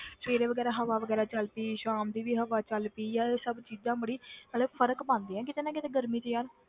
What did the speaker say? ਸਵੇਰੇ ਵਗ਼ੈਰਾ ਹਵਾ ਵਗ਼ੈਰਾ ਚੱਲ ਪਈ ਸ਼ਾਮ ਦੀ ਵੀ ਹਵਾ ਚੱਲ ਪਈ ਯਾਰ ਇਹ ਸਭ ਚੀਜ਼ਾਂ ਬੜੀ ਮਤਲਬ ਫ਼ਰਕ ਪਾਉਂਦੀਆਂ ਕਿਤੇ ਨਾ ਕਿਤੇ ਗਰਮੀ 'ਚ ਯਾਰ।